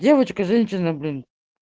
девочка женщина блин